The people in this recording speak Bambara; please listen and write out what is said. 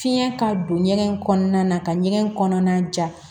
Fiɲɛ ka don ɲɛgɛn kɔnɔna na ka ɲɛgɛn kɔnɔna ja